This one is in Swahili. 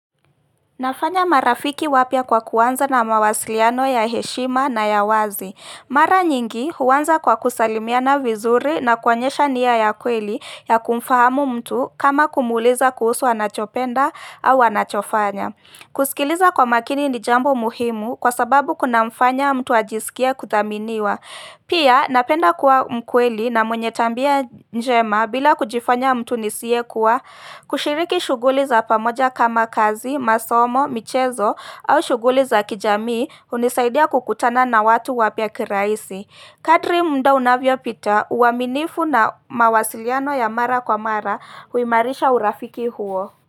Nafanya marafiki wapya kwa kuanza na mawasiliano ya heshima na ya wazi. Mara nyingi huanza kwa kusalimiana vizuri na kuonyesha nia ya kweli ya kumfahamu mtu kama kumuuliza kuhusu anachopenda au anachofanya. Kusikiliza kwa makini ni jambo muhimu kwa sababu kunamfanya mtu ajisikie kuthaminiwa. Pia napenda kuwa mkweli na mwenye tabia njema bila kujifanya mtu nisiyekuwa kushiriki shughuli za pamoja kama kazi, masomo, michezo au shughuli za kijamii hunisaidia kukutana na watu wapya kirahisi. Kadri muda unavyopita uaminifu na mawasiliano ya mara kwa mara huimarisha urafiki huo.